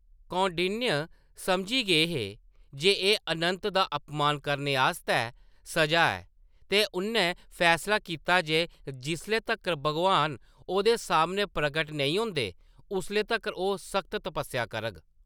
कौंडिन्य समझी गेई जे एह्‌‌ "अनंत" दा अपमान करने आस्तै सजा ऐ ते उʼन्नै फैसला कीता जे जिसले तक्कर भगवान ओह्‌‌‌दे सामनै प्रकट नेईं होंदे, उसले तक्कर ओह्‌‌ सख्त तपस्सेआ करग।